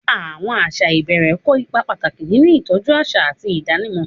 Àwọn àṣà ìbẹ̀rẹ̀ kó ipa pàtàkì nínú ìtọ́jú àṣà àti ìdánimọ̀.